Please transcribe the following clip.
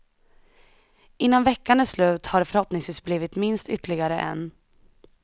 Innan veckan är slut har det förhoppningsvis blivit minst ytterligare en.